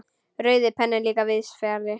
Rauði penninn líka víðs fjarri.